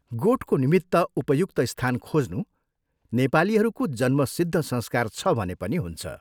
गोठको निमित्त उपयुक्त स्थान खोज्नु नेपालीहरूको जन्मसिद्ध संस्कार छ भने पनि हुन्छ।